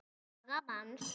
aga manns.